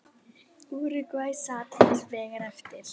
Úrúgvæ sat hins vegar eftir.